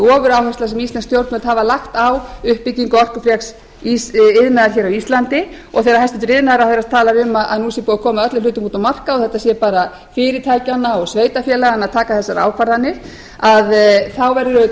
ofuráhersla sem íslensk stjórnvöld hafa lagt á uppbyggingu orkufreks iðnaðar hér á íslandi og þegar iðnaðarráðherra talar um að nú sé búið að koma öllum hlutum út á markað og þetta sé bara fyrirtækjanna og sveitarfélaganna að taka þessar ákvarðanir þá verður auðvitað að